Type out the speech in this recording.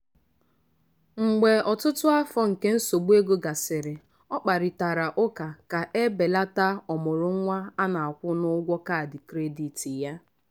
mgbe ọtụtụ afọ nke nsogbu ego gasịrị ọ kparịtara ụka ka e belata ọmụrụ nwa ọ na-akwụ na ụgwọ kaadị kredit ya.